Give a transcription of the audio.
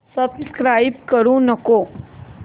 subscribe करू नको